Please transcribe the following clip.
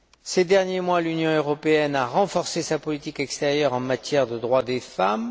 Ces derniers mois, l'Union européenne a renforcé sa politique extérieure en matière de droits des femmes.